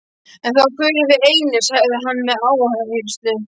En þá förum við einir, sagði hann með áherslu.